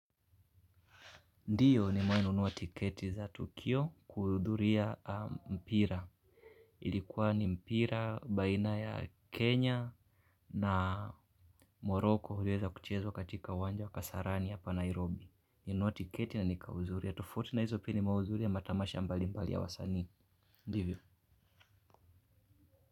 Ndio nimewahi nunua tiketi za tukio kuhudhuria mpira. Ilikuwa ni mpira baina ya Kenya na Morocco uliweza kuchezwa katika uwanja wa kasarani hapa Nairobi. Nilinunua tiketi na nika uzuri ya tofauti na hizo pini mazuri ya matamasha mbalimbali ya wasanii. Ndivyo.